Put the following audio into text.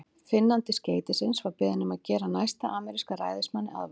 Finnandi skeytisins var beðinn um að gera næsta ameríska ræðismanni aðvart.